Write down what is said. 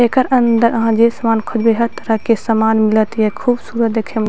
एकर अंदर आहां जे सामान खोजबे हैत ओय तरह के सामान मिलत या खूबसूरत देखे में --